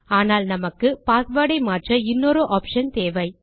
ஆனால் நமக்கு பாஸ்வேர்ட் ஐ மாற்ற இன்னொரு ஆப்ஷன் தேவை